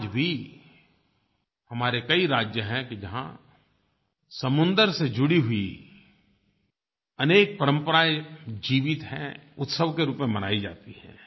आज भी हमारे कई राज्य हैं कि जहाँ समुन्दर से जुड़ी हुई अनेक परम्पराएँ जीवित हैं उत्सव के रूप में मनाई जाती हैं